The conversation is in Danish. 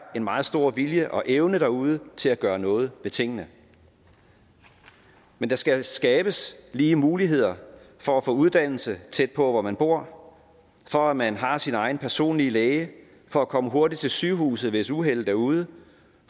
en meget stor vilje og evne derude til at gøre noget ved tingene men der skal skabes lige muligheder for at få uddannelse tæt på hvor man bor for at man har sin egen personlige læge for at komme hurtigt til sygehuset hvis uheldet er ude